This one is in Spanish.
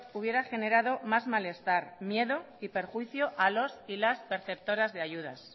hubiera generado más malestar miedo y perjuicio a los y las perceptoras de ayudas